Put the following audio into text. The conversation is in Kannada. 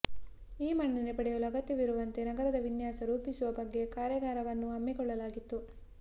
ಈ ಮನ್ನಣೆ ಪಡೆಯಲು ಅಗತ್ಯವಿರುವಂತೆ ನಗರದ ವಿನ್ಯಾಸ ರೂಪಿಸುವ ಬಗ್ಗೆ ಕಾರ್ಯಾಗಾರವನ್ನೂ ಹಮ್ಮಿಕೊಳ್ಳಲಾಗಿತ್ತು